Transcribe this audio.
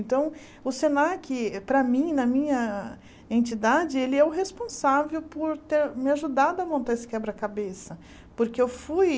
Então, o Senac, para mim, na minha entidade, ele é o responsável por ter me ajudado a montar esse quebra-cabeça, porque eu fui...